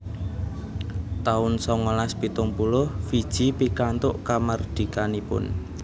taun songolas pitung puluh Fiji pikantuk kamardikanipun